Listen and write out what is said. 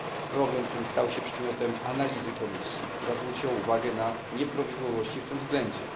Problem ten stał się przedmiotem analizy komisji, która zwróciła uwagę na nieprawidłowości w tym względzie.